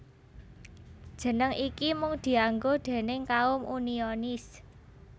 Jeneng iki mung dianggo déning kaum Unionis